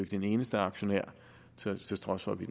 den eneste aktionær til trods for at vi